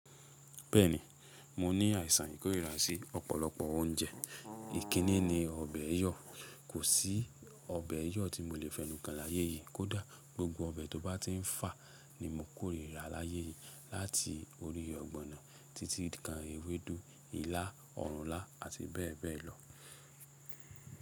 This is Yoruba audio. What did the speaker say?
Bẹ́ẹ̀ni, mo ní àìsàn ìkórìíra sí ọ̀pọ̀lọpọ̀ oúnjẹ. Ìkíni ni ọbẹ̀ ẹyọ, kò sí ọbẹ̀ ẹyọ tí mo lè fẹnukàn láyé yìí, kódà gbogbo ọbẹ̀ tó bá ti ń fà ni mo kórìíra láyé yìí. Láti orí ọ̀gbọ̀nà títí kan ewédú, ilá, ọ̀rùnlá àti bẹ́ẹ̀ bẹ́ẹ̀ lọ.